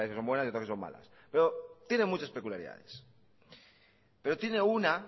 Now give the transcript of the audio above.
hay algunas que son buenas y otras que son malas pero tiene muchas peculiaridades pero tiene una